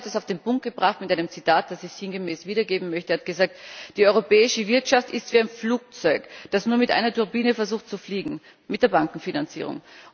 Yves Mersch hat es auf den Punkt gebracht mit einem Zitat, das ich sinngemäß wiedergeben möchte. Er hat gesagt Die europäische Wirtschaft ist wie ein Flugzeug, das nur mit einer Turbine versucht zu fliegen mit der Bankenfinanzierung.